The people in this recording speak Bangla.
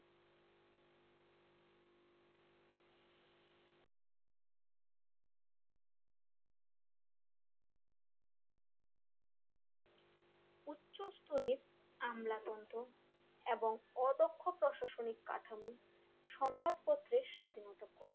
স্তোরির আমলাতন্ত্র এবং অদক্ষ প্রশাসনিক কাঠামো সংবাদপত্রের স্বাধীনতা কম